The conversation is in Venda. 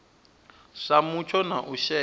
sa mutsho na u shaea